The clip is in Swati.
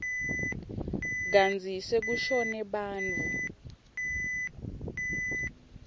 kantsi sekushone bantfu